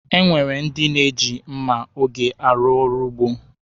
E nwere ndị na-eji mma oge arụ ọrụ ugbo.